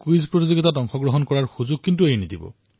quiz প্ৰতিযোগিতাৰ সুযোগ নেহেৰুৱাব